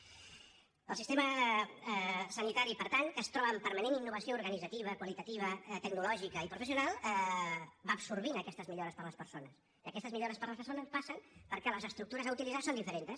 el sistema sanitari per tant que es troba en permanent innovació organitzativa qualitativa tecnològica i professional va absorbint aquestes millores per a les persones i aquestes millores per a les persones passen perquè les estructures a utilitzar són diferents